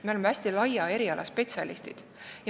Me oleme hästi laia eriala spetsialistid.